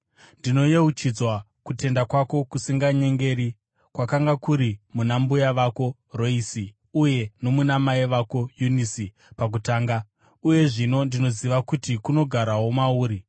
Ndinoyeuchidzwa kutenda kwako kusinganyengeri, kwakanga kuri muna mbuya vako Roisi uye nomuna mai vako Yunisi pakutanga, uye zvino ndinoziva kuti kunogarawo mauri.